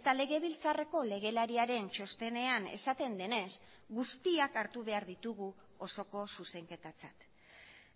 eta legebiltzarreko legelariaren txostenean esaten denez guztiak hartu behar ditugu osoko zuzenketatzat